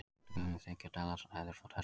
Hluti af gömlum þriggja dala seðli frá Texas.